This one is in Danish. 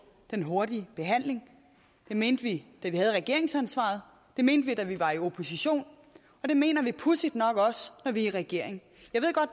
en hurtig behandling det mente vi da vi havde regeringsansvaret det mente vi da vi var i opposition og det mener vi pudsigt nok også når vi er i regering